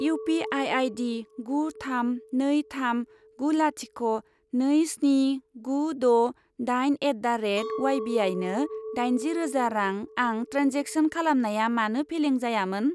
U P I I D गु थाम नै थाम गु लाथिख' नै स्नि गु द' दाइन एट दा रेट उवाइबिआइनो दाइनजि रोजा रां आं ट्रेन्जेक्सन खालामनाया मानो फेलें जायामोन?